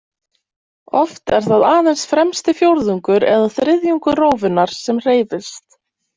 Oft er það aðeins fremsti fjórðungur eða þriðjungur rófunnar sem hreyfist.